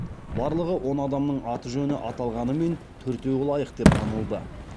барлығы он адамның аты жөні аталғанымен төртеуі лайық деп танылды